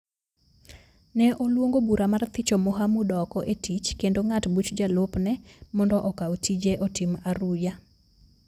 ne oluongo bura mar thicho Mohamud oko e tich kendo ng’at buch jalupne mondo okaw tije otim aruya.